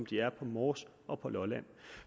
de er på mors og lolland